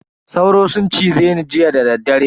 Sauro sun cize ni jiya dadaddare.